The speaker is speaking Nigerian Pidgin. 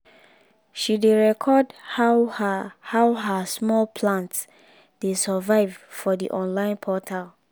she dey record how her how her small plants dey survive for d online portal